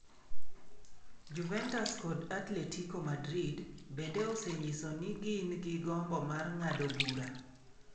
Juventus kod Atletico Madrid bende osenyiso ni gin gi gombo mar ng'ado bura.